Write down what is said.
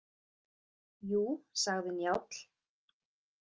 Jú, sagði Njáll.